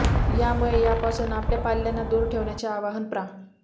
यामुळे यापासून आपल्या पाल्यांना दूर ठेवण्याचे आवाहन प्रा